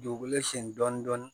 Dugukolo sen dɔɔnin